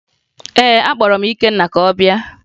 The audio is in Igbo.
Ee, akpọrọ m Ikenna ka ọ bịa